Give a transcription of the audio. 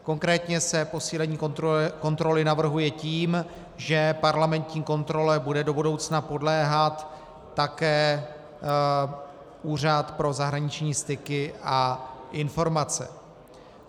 Konkrétně se posílení kontroly navrhuje tím, že parlamentní kontrole bude do budoucna podléhat také Úřad pro zahraniční styky a informace.